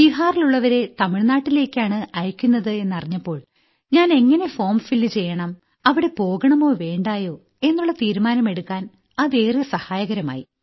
ബീഹാറിലുള്ളവരെ തമിഴ്നാട്ടിലേയ്ക്കാണ് അയയ്ക്കുന്നത് എന്നറിഞ്ഞപ്പോൾ ഞാൻ എങ്ങിനെ ഫോർം ഫിൽ ചെയ്യണം അവിടെ പോകണമോ വേണ്ടയോ എന്നുള്ള തീരുമാനം എടുക്കാൻ അത് ഏറെ സഹായകരമായി